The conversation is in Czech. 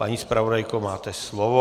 Paní zpravodajko, máte slovo.